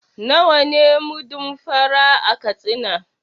Nawa ne mudun fa ra a Katsina?